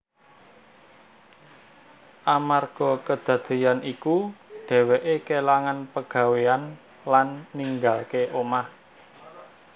Amarga kadadéyan iku dhèwèké kélangan pagawéyan lan ninggalaké omah